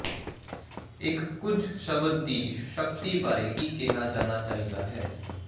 ਇੱਕ ਕੁਝ ਸ਼ਬਦ ਦੀ ਸ਼ਕਤੀ ਬਾਰੇ ਕੀ ਕਿਹਾ ਜਾਣਾ ਚਾਹੀਦਾ ਹੈ